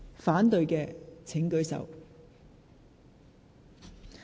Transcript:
反對的請舉手。